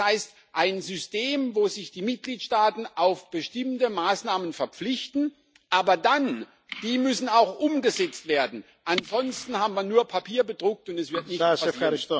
Das heißt, ein System, wo sich die Mitgliedstaaten auf bestimmte Maßnahmen verpflichten, aber dann müssen die auch umgesetzt werden, ansonsten haben wir nur Papier bedruckt und es wird nichts passieren.